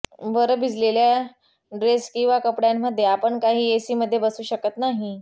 बरं भिजलेल्या ड्रेस किंवा कपडयांमध्ये आपण काही एसीमध्ये बसू शकत नाही